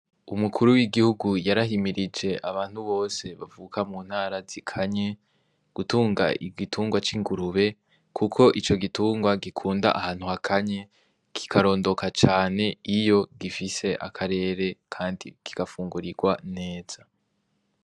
Umukuru w'igihugu yarahimirije abantu bose bavuka mu ntara zi kanye gutunga igitungwa c'ingurube, kuko ico gitungwa gikunda ahantu ha kanye kikarondoka cane iyo gifise akarere, kandi kigafungurirwa neza.